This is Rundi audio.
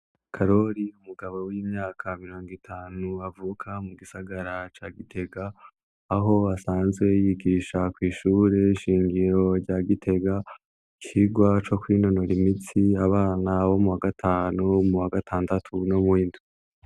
Karori umugabo w'imyaka mirongo itanu avuka mugisagara ca gitega aho asanzwe yigisha kw'ishure shingiro rya gitega icigwa co kwinonora imitsi abana bo m'uwagatanu, bo m'uwagatandatu no m'uwindwi.